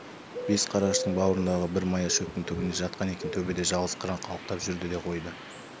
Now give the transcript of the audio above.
бас қараштың бауырындағы бір мая шөптің түбінде жатқан екен төбеде жалғыз қыран қалықтап жүрді де қойды